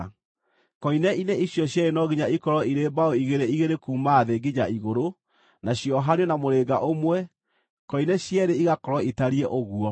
Koine-inĩ icio cierĩ no nginya ikorwo irĩ mbaũ igĩrĩ igĩrĩ kuuma thĩ nginya igũrũ, na ciohanio na mũrĩnga ũmwe; koine cierĩ igakorwo itariĩ ũguo.